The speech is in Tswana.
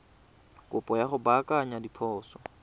kopo ya go baakanya diphoso